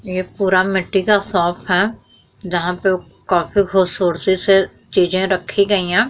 ये पूरा मिट्टी का शॉप है जहां पर वो काफी खूबसूरती से चीजें रक्खी गयी हैं।